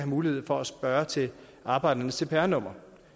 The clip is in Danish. mulighed for at spørge til arbejdernes cpr nummer